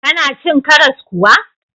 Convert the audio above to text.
Kana cin karas kuwa?